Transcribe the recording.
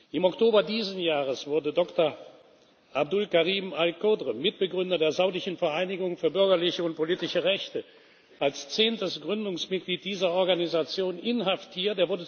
Im Oktober dieses Jahres wurde Dr. Abdulkarim Al Khodr, Mitbegründer der Saudischen Vereinigung für bürgerliche und politische Rechte, als zehntes Gründungsmitglied dieser Organisation inhaftiert.